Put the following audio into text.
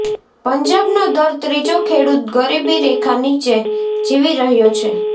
પંજાબનો દર ત્રીજો ખેડૂત ગરીબી રેખા નીચે જીવી રહ્યો છે